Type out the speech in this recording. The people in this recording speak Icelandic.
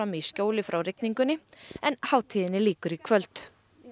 í skjóli frá rigningunni en henni lýkur í kvöld